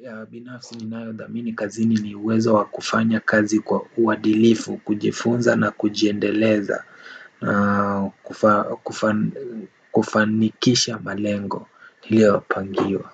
Ya binafsi ninayo dhamini kazini ni uwezo wa kufanya kazi kwa uadhilifu, kujifunza na kujiendeleza, kufanikisha malengo, niliyo pangiwa